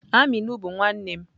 Aminu bu nwannem.